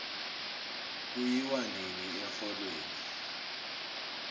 kuyiwo nini exholweni